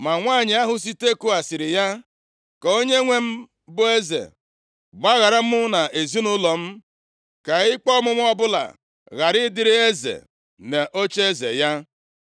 Ma nwanyị ahụ si Tekoa sịrị ya, “Ka onyenwe m, bụ eze, gbaghara mụ na ezinaụlọ m, ka ikpe ọmụma ọbụla ghara ịdịrị eze na ocheeze ya.”